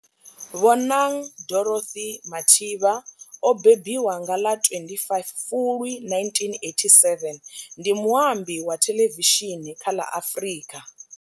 Bonang Dorothy Mathivha o mbembiwa nga ḽa 25 Fulwi 1987, ndi muambi wa thelevishini kha ḽa Afrika.